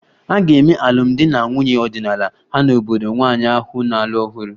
A ga-eme alụmdi na nwunye ọdịnala ha n'obodo nwanyị ahụ na-alụ ọhụrụ